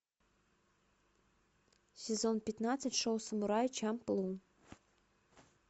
сезон пятнадцать шоу самурай чамплу